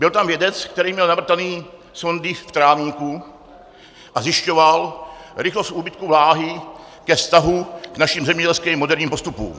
Byl tam vědec, který měl navrtané sondy v trávníku a zjišťoval rychlost úbytku vláhy ke vztahu k našim zemědělským moderním postupům.